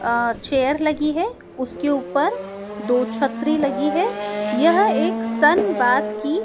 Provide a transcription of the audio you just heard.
अ chair लगी है उसके ऊपर दो छतरी लगी है यह एक सनबाथ की--